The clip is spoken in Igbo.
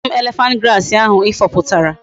Wetara m elephant grass ahu i fuputara!